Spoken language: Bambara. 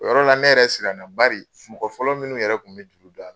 O yɔrɔ la ne yɛrɛ silanna bari f mɔgɔ fɔlɔ minnu yɛrɛ kun be juru da